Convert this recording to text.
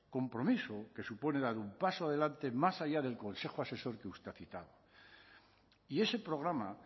compromiso que supone dar un paso adelante más allá del consejo asesor que usted ha citado y ese programa